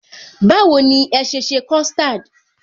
Báwo ni ẹ sese custard?